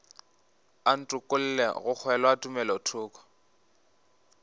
a ntokolle go kgolwa tumelothoko